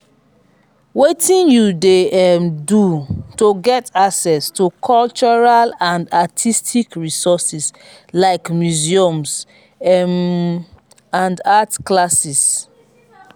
wetin you dey um do to get access to cultural and artistic resources like museums um and art classes?